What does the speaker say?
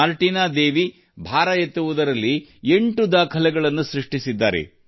Martina Devi weight lifting ಭಾರ ಎತ್ತುಗೆಯಲ್ಲಿ ನಲ್ಲಿ ಎಂಟು ದಾಖಲೆಗಳನ್ನು ಮಾಡಿದ್ದಾರೆ